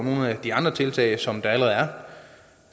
nogle af de andre tiltag som allerede er